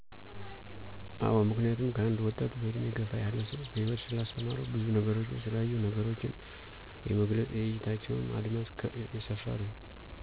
አወዐምክንያቱም ከአንድ ወጣት በእድሜ ገፍ ያለው ሰው ሕይወት ስላስተማረው ብዙ ነገሮችን ስላዩ ነገሮችን የመግለጽ የእይታቸውም አድማስ የሰፍ ነው።